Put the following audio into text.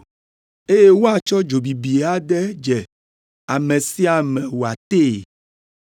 Eye woatsɔ dzo bibi ade dze ame sia ame wòatee.”